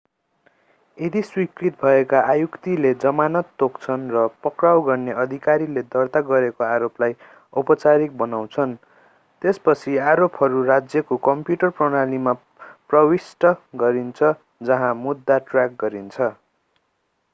यदि स्वीकृत भएमा आयुक्तले जमानत तोक्छन् र पक्राउ गर्ने अधिकारीले दर्ता गरेको आरोपलाई औपचारिक बनाउँछन् त्यसपछि आरोपहरू राज्यको कम्प्युटर प्रणालीमा प्रविष्ट गरिन्छ जहाँ मुद्दा ट्र्याक गरिन्छ